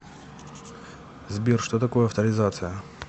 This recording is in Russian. сбер что такое авторизация